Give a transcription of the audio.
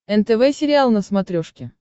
нтв сериал на смотрешке